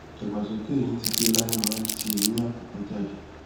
ìdàgbàsókè eyín títí láéláé máa ń tì eyín àkọkọ jáde